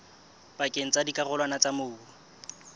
pakeng tsa dikarolwana tsa mobu